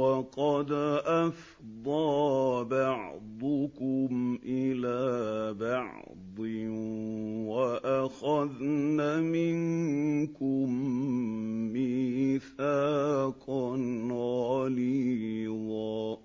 وَقَدْ أَفْضَىٰ بَعْضُكُمْ إِلَىٰ بَعْضٍ وَأَخَذْنَ مِنكُم مِّيثَاقًا غَلِيظًا